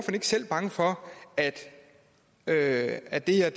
ikke selv bange for at at det her